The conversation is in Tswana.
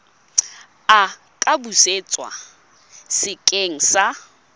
a ka busetswa sekeng sa